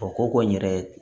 O ko ko n yɛrɛ